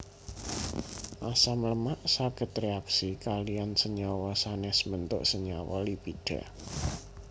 Asam lemak saged réaksi kaliyan senyawa sanès mbentuk senyawa lipida